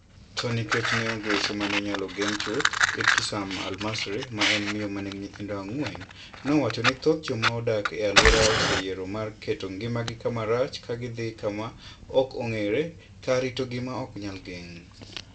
To nikech ne onge weche ma ne inyalo gen chuth, Ibtisam Al-Masri ma en miyo ma nigi nyithindo ang'wen nowacho ni thoth joma odak e alworano oseyiero mar keto ngimagi kama rach ka gidhi kama "ok ong'ere" kar rito gima "ok nyal geng'".